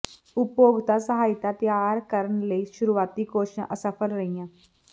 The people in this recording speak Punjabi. ਉਪਭੋਗਤਾ ਸਹਾਇਤਾ ਤਿਆਰ ਕਰਨ ਲਈ ਸ਼ੁਰੂਆਤੀ ਕੋਸ਼ਿਸ਼ਾਂ ਅਸਫਲ ਰਹੀਆਂ